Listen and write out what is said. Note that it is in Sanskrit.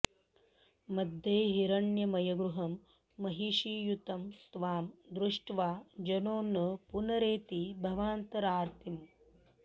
मध्ये हिरण्मयगृहं महिषीयुतं त्वां दृष्ट्वा जनो न पुनरेति भवान्तरार्तिम्